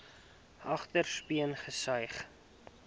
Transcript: agterste speen gesuig